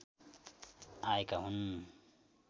आएका हुन्